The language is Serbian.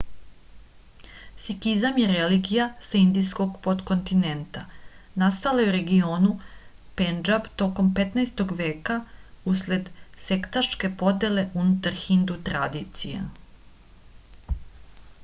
sikizam je religija sa indijskog potkontinenta nastala je u regionu pendžab tokom 15-og veka usled sektaške podele unutar hindu tradicije